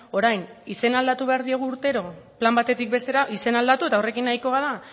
orain izena aldatu behar diogu urtero plan batetik bestera izena aldatu eta horrekin nahikoa da